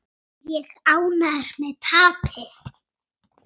Er ég ánægður með tapið?